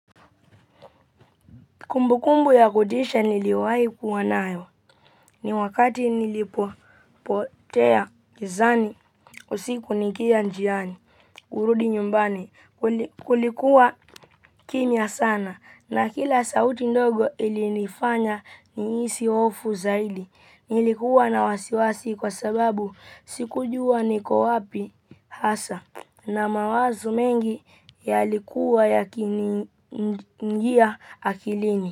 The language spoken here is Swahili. Kumbukumbu ya kutisha niliyowahi kuwa nayo ni wakati nilipotea gizani usiku nikiwa njiani kurudi nyumbani. Kulikuwa kimya sana na kila sauti ndogo ilinifanya nihisi hofu zaidi. Nilikuwa na wasiwasi kwa sababu sikujua niko wapi hasa na mawazo mengi yalikuwa yakiniingia akilini.